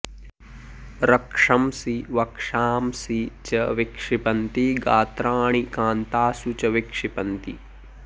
रक्षंसि वक्षांसि च विक्षिपन्ति गात्राणि कान्तासु च विक्षिपन्ति